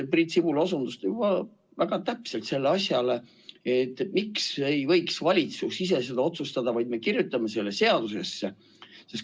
Priit Sibul osutas juba väga täpselt sellele asjale: miks ei võiks valitsus ise otsustada, vaid me kirjutame selle seadusesse?